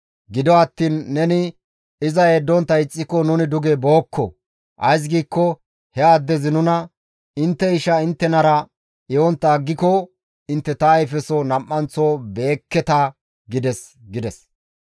Gido attiin neni iza yeddontta ixxiko nuni duge bookko; ays giikko he addezi nuna, ‹Intte isha inttenara ehontta aggiko intte ta ayfeso nam7anththo be7ekketa› gides» gides.